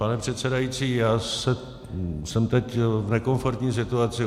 Pane předsedající, já jsem teď v nekomfortní situaci.